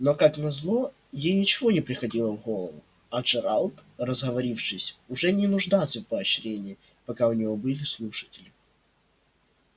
но как назло ей ничего не приходило в голову а джералд разговорившись уже не нуждался в поощрении пока у него были слушатели